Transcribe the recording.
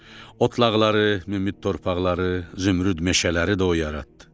Otlaqları, münbit torpaqları, zümrüd meşələri də o yaratdı.